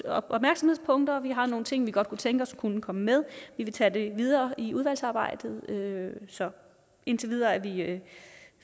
opmærksomhedspunkter og vi har nogle ting vi godt kunne tænke os kom med vi vil tage det videre i udvalgsarbejdet så indtil videre er vi